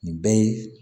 Nin bɛɛ ye